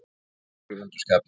Kolur er í vondu skapi.